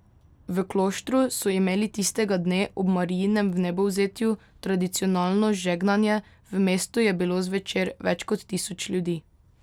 V Kloštru so imeli tistega dne, ob Marijinem vnebovzetju, tradicionalno žegnanje, v mestu je bilo zvečer več kot tisoč ljudi.